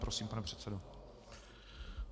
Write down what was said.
Prosím, pane předsedo.